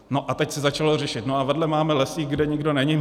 No a teď se začalo řešit: No a vedle máme lesík, kde nikdo není.